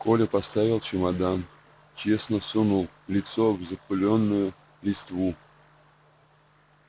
коля поставил чемодан честно сунул лицо в запылённую листву